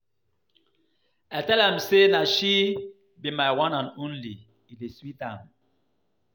I tell am say na she be my one and only, e dey sweet am.